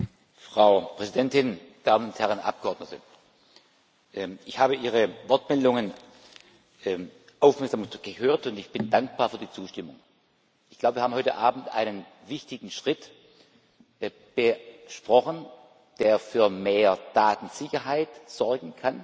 Frau Präsidentin, meine Damen und Herren Abgeordnete! Ich habe Ihre Wortmeldungen aufmerksam gehört und bin dankbar für die Zustimmung. Ich glaube, wir haben heute Abend einen wichtigen Schritt besprochen, der für mehr Datensicherheit sorgen kann,